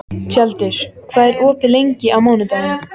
Tjaldur, hvað er opið lengi á mánudaginn?